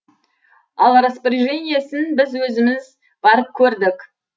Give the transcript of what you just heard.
ал распорежениесін біз өзіміз барып көрдік